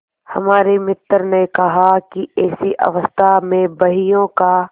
हमारे मित्र ने कहा कि ऐसी अवस्था में बहियों का